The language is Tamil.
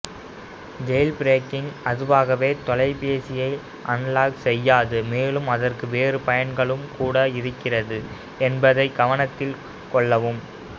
ஜெயில்பிரேக்கிங் அதுவாகவே தொலைபேசியை அன்லாக் செய்யாது மேலும் அதற்கு வேறு பயன்களும் கூட இருக்கிறது என்பதைக் கவனத்தில் கொள்ளவும்